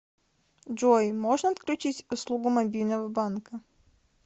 джой можно отключить услугу мобильного банка